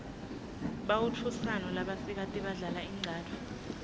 bautfusano labasikati badlal inqcatfu